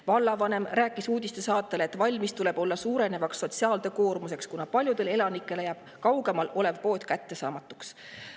Vallavanem rääkis uudistesaatele, et valmis tuleb olla suurenevaks sotsiaaltöö koormuseks, kuna paljudele elanikele jääb kaugemal olev pood kättesaamatuks.